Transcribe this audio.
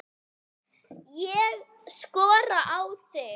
Ég skora á þig!